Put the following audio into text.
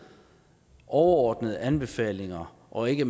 overordnede anbefalinger og ikke